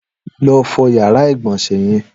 Lọ fọ iyàrá igbọnsẹ̀ yèn